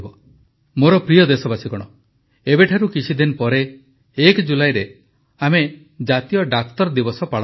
ମୋର ପ୍ରିୟ ଦେଶବାସୀଗଣ ଏବେଠାରୁ କିଛିଦିନ ପରେ ୧ ଜୁଲାଇରେ ଆମେ ଜାତୀୟ ଡାକ୍ତର ଦିବସ ପାଳନ କରିବା